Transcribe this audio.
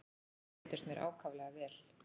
Þau reyndust mér ákaflega vel.